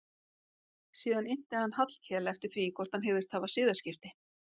Síðan innti hann Hallkel eftir því hvort hann hygðist hafa siðaskipti.